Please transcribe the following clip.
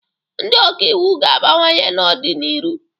Ndị ọka iwu ga-abawanye n'ọ dị n'iru.